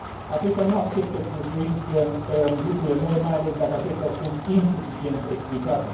Aceasta nu acceptă cu ușurință lucrurile noi, mai ales dacă acestea sunt insuficient explicate.